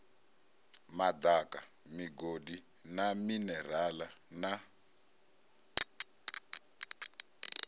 madaka migodi na minerale na